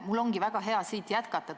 Mul ongi väga hea siit jätkata.